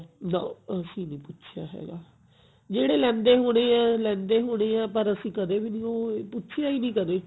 ਨਾ ਅਸੀਂ ਨਹੀਂ ਪੁੱਛੀਆ ਹੈਗਾ ਜਿਹੜੇ ਲੈਂਦੇ ਹੋਣੇ ਆ ਲੈਂਦੇ ਹੋਣੇ ਆ ਪਰ ਅਸੀਂ ਕਦੇ ਵੀ ਨਹੀਂ ਊਂ ਪੁੱਛੀਆ ਈ ਨਹੀਂ ਕਦੇ